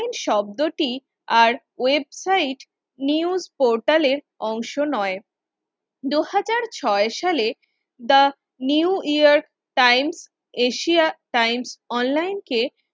শব্দটি আর website news পোর্টালের অংশ নয় দুই হাজার ছয় সাল টি new years time Asia Times অনলাইনকে